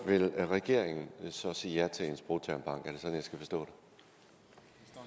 vil regeringen så sige ja til en sprogtermbank er det skal forstå det